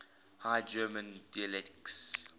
high german dialects